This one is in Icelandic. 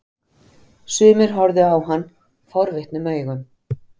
Sumir horfðu á hann forvitnum augum.